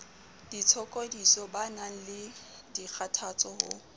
ditshokodiso banang le dikgathatso ho